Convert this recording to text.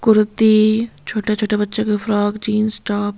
कुर्ती छोटे-छोटे बच्चों की फ्रॉक जींस टॉप --